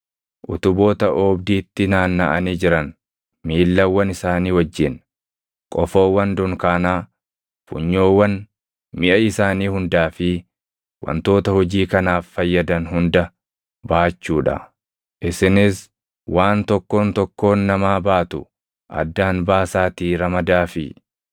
utuboota oobdiitti naannaʼanii jiran miillawwan isaanii wajjin, qofoowwan dunkaanaa, funyoowwan, miʼa isaanii hundaa fi wantoota hojii kanaaf fayyadan hunda baachuu dha. Isinis waan tokkoon tokkoon namaa baatu addaan baasaatii ramadaafii.